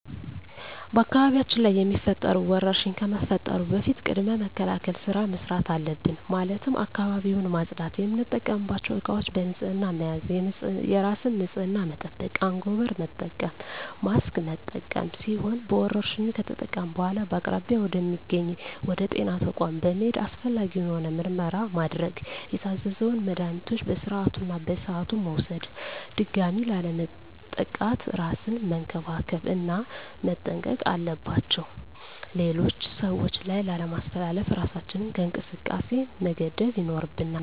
በአካባቢያችን ላይ የሚፈጠሩ ወረርሽኝ ከመፈጠሩ በፊት ቅድመ መከላከል ስራ መስራት አለብን ማለትም አካባቢውን ማፅዳት፣ የምንጠቀምባቸው እቃዎች በንህፅና መያዝ፣ የራስን ንፅህና መጠበቅ፣ አንጎበር መጠቀም፣ ማስክ መጠቀም ሲሆኑ በወረርሽኙ ከተጠቃን በኃላ በአቅራቢያ ወደ ሚገኝ ወደ ጤና ተቋም በመሔድ አስፈላጊውን የሆነ ምርመራ ማድረግ የታዘዘውን መድሀኒቶች በስርዓቱ እና በሰዓቱ መውሰድ ድጋሚ ላለመጠቃት እራስን መንከባከብ እና መጠንቀቅ አለባቸው ሌሎች ሰዎች ላይ ላለማስተላለፍ እራሳችንን ከእንቅስቃሴ መገደብ ይኖርብናል።